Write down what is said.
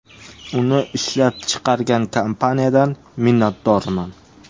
Uni ishlab chiqargan kompaniyadan minnatdorman.